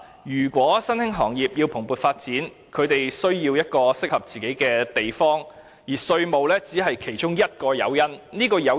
如果新興行業希望蓬勃地發展，自然需要一個合適的地方，而稅務優惠只是其中一個誘因而已。